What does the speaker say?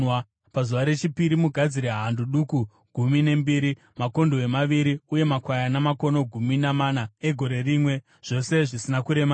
“ ‘Pazuva rechipiri mugadzire hando duku gumi nembiri, makondobwe maviri uye makwayana makono gumi namana egore rimwe, zvose zvisina kuremara.